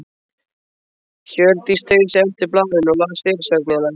Hjördís teygði sig eftir blaðinu og las fyrirsögnina.